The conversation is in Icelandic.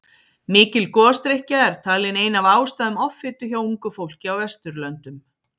Mikil gosdrykkja er talin ein af ástæðum offitu hjá ungu fólki á Vesturlöndum.